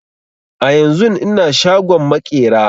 A yanzun ina shagon maƙera